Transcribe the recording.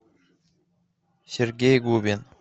сергей губин